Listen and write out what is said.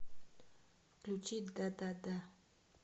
включи дадада